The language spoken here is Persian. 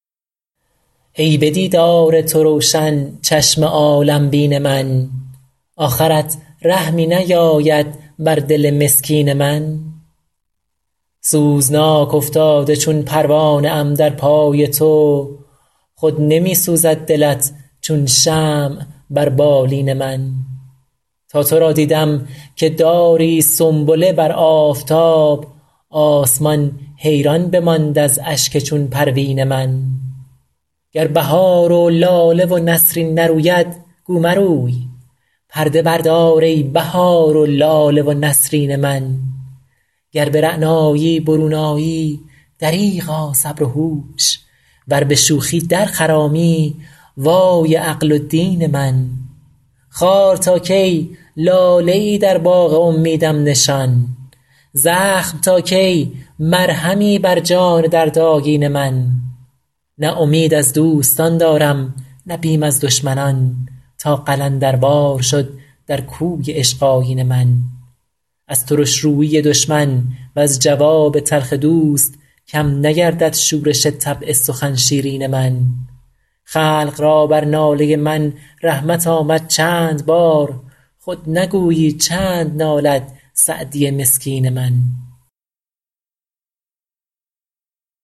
ای به دیدار تو روشن چشم عالم بین من آخرت رحمی نیاید بر دل مسکین من سوزناک افتاده چون پروانه ام در پای تو خود نمی سوزد دلت چون شمع بر بالین من تا تو را دیدم که داری سنبله بر آفتاب آسمان حیران بماند از اشک چون پروین من گر بهار و لاله و نسرین نروید گو مروی پرده بردار ای بهار و لاله و نسرین من گر به رعنایی برون آیی دریغا صبر و هوش ور به شوخی در خرامی وای عقل و دین من خار تا کی لاله ای در باغ امیدم نشان زخم تا کی مرهمی بر جان دردآگین من نه امید از دوستان دارم نه بیم از دشمنان تا قلندروار شد در کوی عشق آیین من از ترش رویی دشمن وز جواب تلخ دوست کم نگردد شورش طبع سخن شیرین من خلق را بر ناله من رحمت آمد چند بار خود نگویی چند نالد سعدی مسکین من